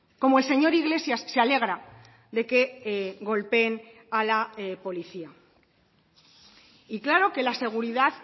como el señor iglesias se alegra de que golpeen a la policía y claro que la seguridad